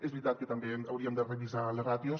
és veritat que també hauríem de revisar les ràtios